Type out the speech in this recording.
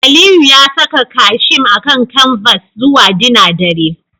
Aliyu ya saka casheme akan canvas zuwa dinner dare